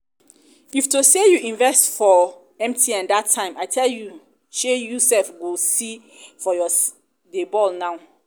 if to say you invest for mtn dat time i tell you shey you sef go see dey ball now